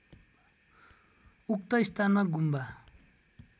उक्त स्थानमा गुम्बा